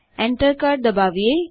enter કળ દબાવીએ